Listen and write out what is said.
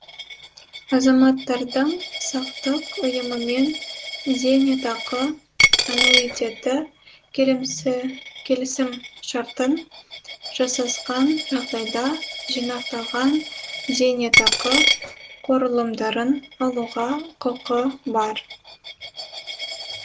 азаматтардың сақтық ұйымымен зейнетақы аннуитеті келісімшартын жасасқан жағдайда жинақталған зейнетақы қорлымдарын алуға құқы бар